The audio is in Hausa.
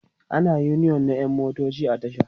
ana da uniyon na ƴan motoci a tasha